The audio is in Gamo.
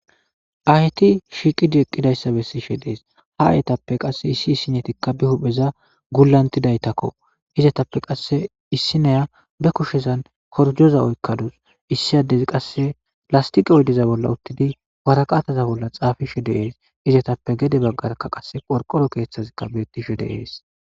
ahyti shiiqidieqqidayssa bessishe dees ha ayetappe qasse issi issinetikka bi hupheza gullantidaytakko izatappe qasse issineya be kushezan horjoza oykkaduus issiyadezi qasse lastiqo oydiza bolla uttidi waraqataza bolla xaafishe deees izatappe gede baggarkka qasse qorqoro keeththazikka bettishe deees